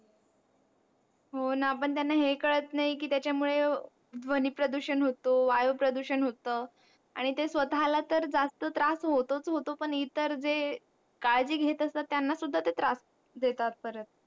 हो ना पण त्यांना हे कळत नाही कि त्याच्या मुळे ध्वनी प्रदूषण होत वायू प्रदूषण होत आणि ते स्वतःला तर जास्त त्रास होतोच होतो पण इतर जे काळजी घेत असतात तर त्यांना सुद्धा ते त्रास देतात